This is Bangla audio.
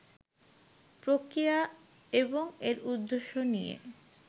প্রক্রিয়া এবং এর উদ্দেশ্য নিয়ে